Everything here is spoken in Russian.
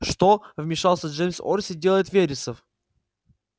что вмешался джеймс орси делает вересов